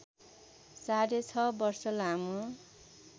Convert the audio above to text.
साढे छ वर्ष लामो